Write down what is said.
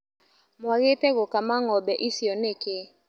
Mwagĩte gũkama ngombe icio nĩkĩ.